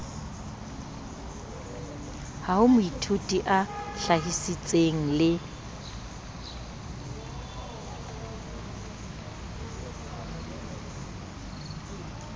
ha moithuti a hlahisitse le